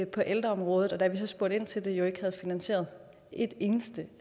på ældreområdet og de da vi så spurgte ind til det jo ikke havde finansieret et eneste